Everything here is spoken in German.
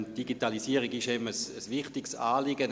Die Digitalisierung ist ihm ein wichtiges Anliegen;